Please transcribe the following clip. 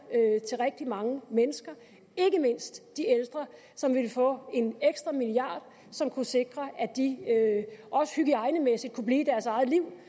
til rigtig mange mennesker ikke mindst de ældre som ville få en ekstra milliard som kunne sikre at de også hygiejnemæssigt kunne blive i deres eget liv